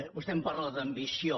vostè em parla d’ambició